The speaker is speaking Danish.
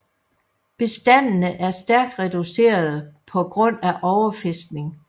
Bestandene er stærkt reducerede på grund af overfiskning